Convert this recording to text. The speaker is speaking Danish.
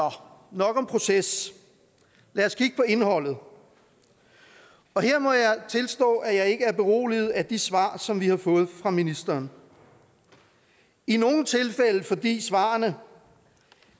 nok om proces lad os kigge på indholdet og her må jeg tilstå at jeg ikke er beroliget af de svar som vi har fået fra ministeren i nogle tilfælde fordi svarene